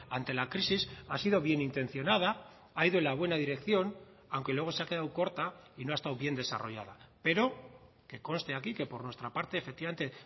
ante la crisis ha sido bienintencionada ha ido en la buena dirección aunque luego se ha quedado corta y no ha estado bien desarrollada pero que conste aquí que por nuestra parte efectivamente